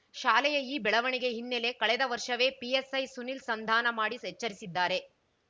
ಶಾಲೆಯ ಈ ಬೆಳವಣಿಗೆ ಹಿನ್ನೆಲೆ ಕಳೆದ ವರ್ಷವೇ ಪಿಎಸ್‌ಐ ಸುನಿಲ್‌ ಸಂಧಾನ ಮಾಡಿ ಸ್ ಎಚ್ಚರಿಸಿದ್ದಾರೆ